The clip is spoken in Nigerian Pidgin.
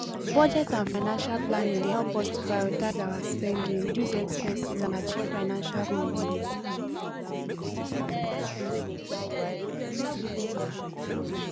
budget and financial planning dey help us to prioritize our spending reduce expenses and achieve financial goals